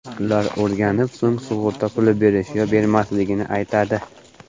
Ular o‘rganib, so‘ng sug‘urta puli berish yo bermasligini aytadi.